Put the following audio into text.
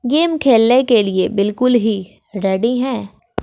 Game खेलने के लिए बिल्कुल ही रेडी है।